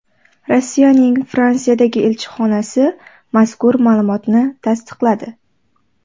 Rossiyaning Fransiyadagi elchixonasi mazkur ma’lumotni tasdiqladi.